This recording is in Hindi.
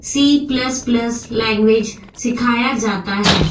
सी प्लस प्लस लैंग्वेज सिखाया जाता है।